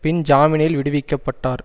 பின் ஜாமீனில் விடுவிக்க பட்டார்